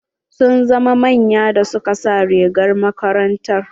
Sun zama manya da su ka sa rigar makarantar.